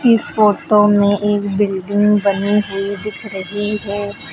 इस फोटो में एक बिल्डिंग बनी हुई दिख रही है।